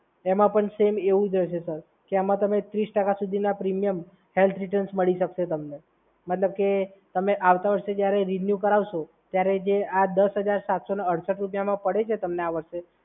એમાં પણ સેમ એવું જ રહેશે સર. કે એમાં તમે ત્રીસ ટકા સુધીના પ્રીમિયમ હેલ્થ રિટર્ન્સ મળી શકશે સર તમને. મતલબ કે તમે આવતા વર્ષે જ્યારે રિન્યૂ કરાવશો ત્યારે જે આ દસ હજાર સાતસો અને અડસઠ રૂપિયામાં જે પડ્યો છે તમને આ વર્ષે